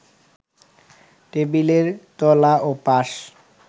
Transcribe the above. টেবিলের তলা ও পাশ